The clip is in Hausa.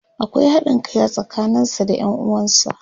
akwai haɗin Kai a tsakanin sa da Yan uwansa.